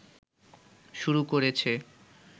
শুরু করেছে